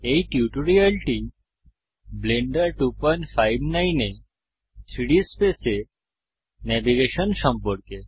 এই টিউটোরিয়ালটি ব্লেন্ডার 259 এ 3ডি স্পেস এ ন্যাভিগেশন সম্পর্কে